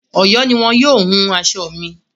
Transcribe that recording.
Ọ̀yọ́ ni wọn yóò wun aṣọ mi.